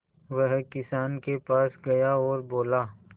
वह किसान के पास गया और बोला